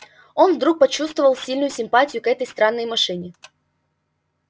он вдруг почувствовал сильную симпатию к этой странной машине